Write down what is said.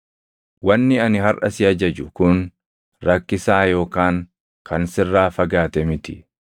Wanni ani harʼa si ajaju kun rakkisaa yookaan kan sirraa fagaate miti.